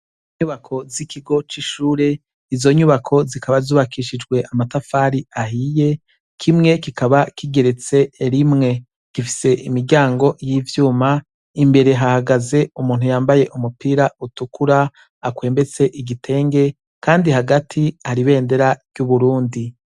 Inyubako z'ikigo c'ishure izo nyubako zikaba zubakishijwe amatafari ahiye kimwe kikaba kigeretse erimwe gifise imiryango y'ivyuma imbere hahagaze umuntu yambaye umupira utukura akwembetse igitenge, kandi hagati haribendera ry'uburundi.